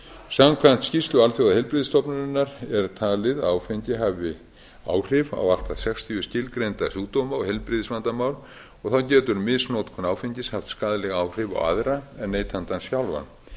samkvæmt skýrslu alþjóðaheilbrigðisstofnunarinnar er talið að áfengi hafi áhrif á allt að sextíu skilgreinda sjúkdóma og heilbrigðisvandamál og þá getur misnotkun áfengis haft skaðleg áhrif á aðra en neytandann sjálfan